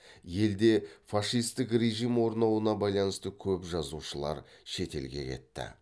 елде фашистік режим орнауына байланысты көп жазушылар шет елге кетті